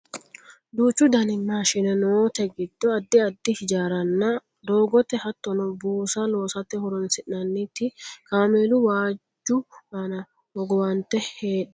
Duuchu dani maashine noote giddo addi addi hijaaranna doogote hattono buusa loosate horonsi'nanniti kameelu waajju aana hogowante hadhanni no yaate